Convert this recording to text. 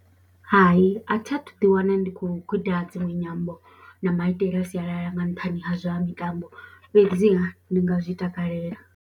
Hai, a thi a thu ḓiwana ndi khou guda dziṅwe nyambo na maitele a sialala nga nṱhani ha zwa mitambo fhedziha ndi nga zwi takalela.